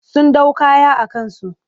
Sun ɗau kaya a kansu.